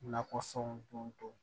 Nakɔfɛnw don